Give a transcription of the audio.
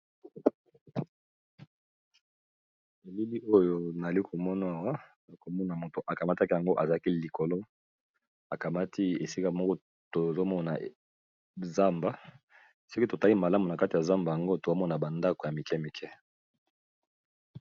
Elili oyo nazomona Awa mazomona moto akamati ya likolo , akamati esika moko tozomona zamba sokito tali malamu na zamba yango tozomona ba ndako ya mikemike.